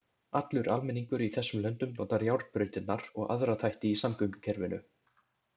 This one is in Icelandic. Allur almenningur í þessum löndum notar járnbrautirnar og aðra þætti í samgöngukerfinu.